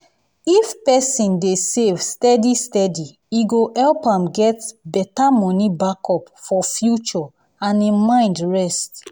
if person dey save steady steady e go help am get better money backup for future and him mind rest.